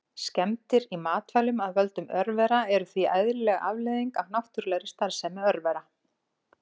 Skemmdir í matvælum af völdum örvera eru því eðlileg afleiðing af náttúrulegri starfsemi örvera.